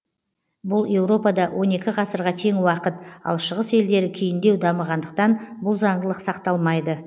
бұл еуропада он екі ғасырға тең уақыт ал шығыс елдері кейіндеу дамығандықтан бұл заңдылық сақталмайды